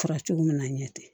Fara cogo min na a ɲɛ tɛ